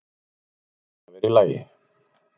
Hún varð að vera í lagi.